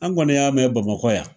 An kɔni y'a mɛn B.amakɔ yan